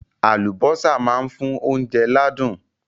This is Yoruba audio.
Àlùbọ́sà máa ń fún oúnjẹ ládùn.